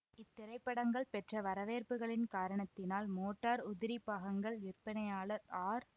இத்திரைபடங்கள் பெற்ற வரவேற்புகளின் காரணத்தினால் மோட்டார் உதிரிப் பாகங்கள் விற்பனையாளர் ஆர்